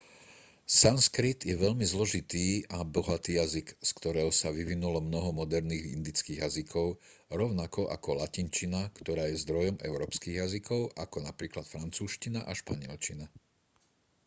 sanskrit je veľmi zložitý a bohatý jazyk z ktorého sa vyvinulo mnoho moderných indických jazykov rovnako ako latinčina ktorá je zdrojom európskych jazykov ako napríklad francúzština a španielčina